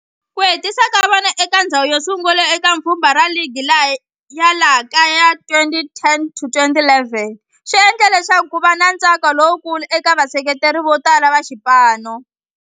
Ku hetisa ka vona eka ndzhawu yosungula eka pfhumba ra ligi ya laha kaya ya 2010 to 2011 swi endle leswaku kuva na ntsako lowukulu eka vaseketeri votala va xipano.